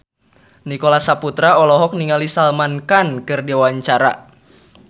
Nicholas Saputra olohok ningali Salman Khan keur diwawancara